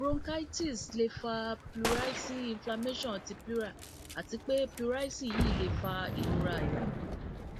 bronchitis le fa pleurisy inflammation ti pleura ati pe pleurisy yii le fa irora àyà